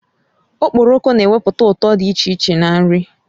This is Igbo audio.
Okporoko na ewepụta ụtọ dị iche na nri